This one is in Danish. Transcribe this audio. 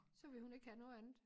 Så ville hun ikke have noget andet